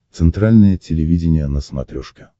центральное телевидение на смотрешке